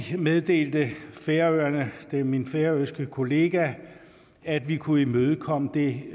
meddelte færøerne via min færøske kollega at vi kunne imødekomme det